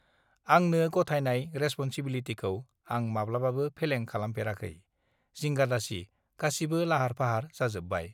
आंनो गथायनाय रेसपनसिबिलिटिखौ आं माब्लाबाबो फेलें खालामफेराखै जिंगादासि गासिबो लाहार फाहार जाजोबबाय